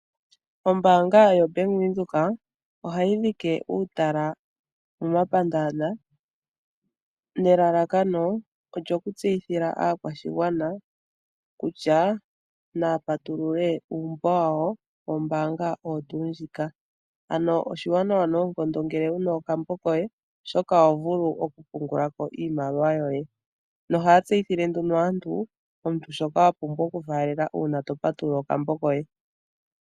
Ombaanga yoBank Windhoek ohayi dhike uutala momapandaanda nelalakano olyo ku tseyithila aakwashigwana kutya naya patulule uumbo wawo wombaanga oyo tuu ndjika. Ano oshiwanawa noonkondo ngele wuna okambo koye oshoka oho vulu oku pungula ko iimaliwa yoye, nohaya tseyithile aantu, omuntu shoka wa pumbwa oku faalela uuna to patulula okambo koye.